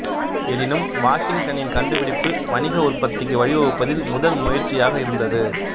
எனினும் வாஷிங்டனின் கண்டுபிடிப்பு வணிக உற்பத்திக்கு வழிவகுப்பதில் முதல் முயற்சியாக இருந்தது